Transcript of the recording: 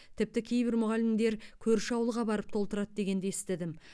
тіпті кейбір мұғалімдер көрші ауылға барып толтырады дегенді естідім